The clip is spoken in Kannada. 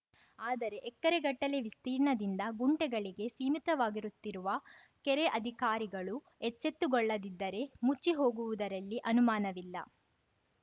ಆದರೆ ಎಕರೆಗಟ್ಟಲೆ ವಿಸ್ತೀರ್ಣದಿಂದ ಗುಂಟೆಗಳಿಗೆ ಸೀಮಿತವಾಗಿರುತ್ತಿರುವ ಕೆರೆ ಅಧಿಕಾರಿಗಳು ಎಚ್ಚೆತ್ತುಗೊಳ್ಳದಿದ್ದರೆ ಮುಚ್ಚಿಹೋಗುವುದರಲ್ಲಿ ಅನುಮಾನವಿಲ್ಲ